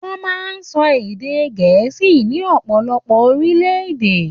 Wọ́n máa ń sọ ède Gẹ́ẹ̀sì ní ọ̀pọ̀lọpọ̀ orílẹ̀-èdè.